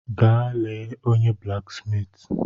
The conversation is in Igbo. Gaa lee onye blaksmiiti.